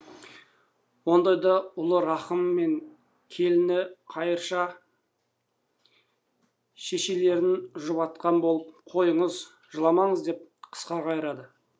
ондайда ұлы рахым мен келіні қайырша шешелерін жұбатқан болып қойыңыз жыламаңыз деп қысқа қайырады